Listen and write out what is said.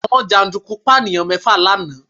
Àwọn jàǹdùkú Pànìyàn mẹ́fà lánàá